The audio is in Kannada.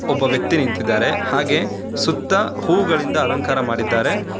ಒಬ್ಬ ವ್ಯಕ್ತಿ ನಿಂತಿದ್ದಾರೆ ಹಾಗೆ ಸುತ್ತ ಹೂಗಳಿಂದ ಅಲಂಕಾರ ಮಾಡಿದ್ದಾರೆ.